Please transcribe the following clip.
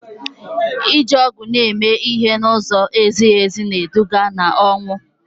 iji ọgwụ eme ihe n'ụzọ na-ezighị ezi na-eduga n'ọnwụ